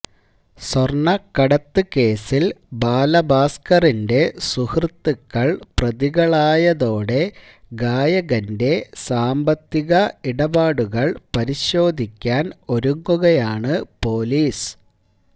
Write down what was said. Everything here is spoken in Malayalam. സ്വർണക്കടത്ത് കേസിൽ ബാലഭാസ്കറിന്റെ സുഹൃത്തുക്കൾ പ്രതികളായതോടെ ഗായകന്റെ സാമ്പത്തിക ഇടപാടുകൾ പരിശോധിക്കാൻ ഒരുങ്ങുകയാണ് പൊലീസ്